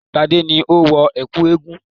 Gbadé ni ó wọ ẹ̀kú eégún